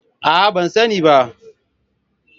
Aa ban sani bah.